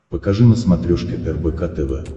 покажи на смотрешке рбк тв